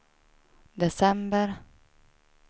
december